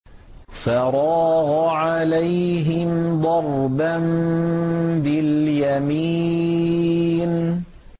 فَرَاغَ عَلَيْهِمْ ضَرْبًا بِالْيَمِينِ